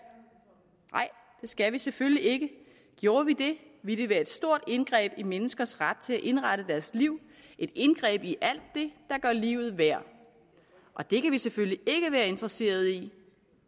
nej det skal vi selvfølgelig ikke gjorde vi det ville det være et stort indgreb i menneskers ret til at indrette deres liv et indgreb i alt det der gør livet værd og det kan vi selvfølgelig ikke være interesseret i